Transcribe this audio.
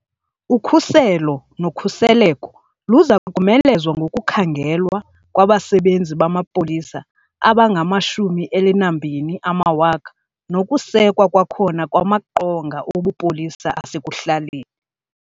Ukhuselo nokhuseleko luza komelezwa ngokukhangelwa kwabasebenzi bamapolisa abangama12 000 nokusekwa kwakhona kwamaqonga obupolisa asekuhlaleni.